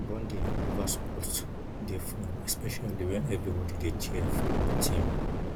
bonding over sports dey fun especially when everybody dey cheer for one team